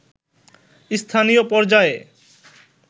স্থানীয় পর্যায়ে